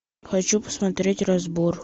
хочу посмотреть разбор